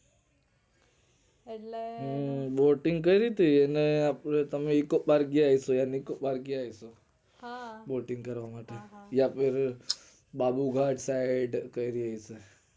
એટલે હમ boating ક્યારી તી અને આપડે eco park ત્યાં eco park ગયા હશો boating કરવા માટે અને બાબુ ઘાટ side